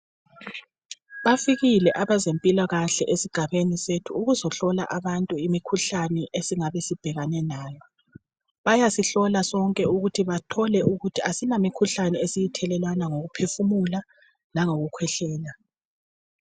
Bafikile abezempilakahle esigabeni sethu ukuzohlola abantu imikhuhlane esingabe sibhekanenayo bayasihlola sonke ukuthi bathole ukuthi asilamikhuhlane esiyithelelana ngokuphefumula langokukhwehlela